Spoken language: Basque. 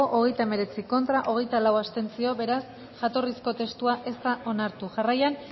hogeita hemeretzi contra hogeita lau abstentzio beraz jatorrizko testua ez da onartu jarraian